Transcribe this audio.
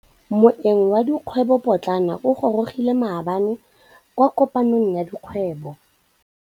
Moêng wa dikgwêbô pôtlana o gorogile maabane kwa kopanong ya dikgwêbô.